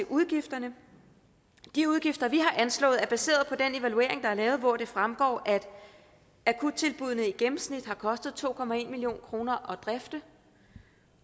udgifterne de udgifter vi har anslået er baseret på den evaluering der er lavet hvor det fremgår at akuttilbuddene i gennemsnit har kostet to million kroner at drifte